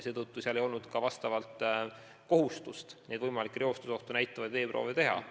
Seetõttu seal ei olnud ka kohustust võimalikku reostusohtu näitavaid veeproove võtta.